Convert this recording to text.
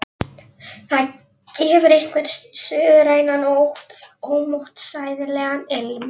Það gefur einhvern suðrænan og ómótstæðilegan ilm.